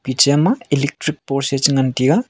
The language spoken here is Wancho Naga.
piche ma electric post e chengan teya.